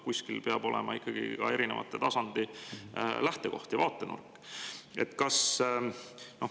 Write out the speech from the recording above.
Kuskil peab olema ikkagi ka erinevate tasandite lähtekoht ja vaatenurk.